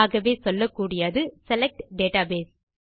ஆகவே சொல்லக்கூடியது select data base